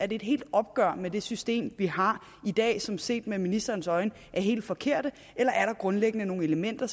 det et helt opgør med det system vi har i dag som set med ministerens øjne er helt forkert eller er der grundlæggende nogle elementer